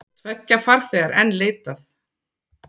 Tveggja farþega er enn leitað.